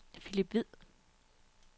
Philip Hvid